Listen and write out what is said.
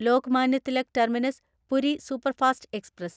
Lokmanya Tilak terminus Puri superfast express